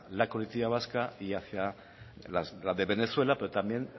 la coletilla vasca y hacia la de venezuela pero también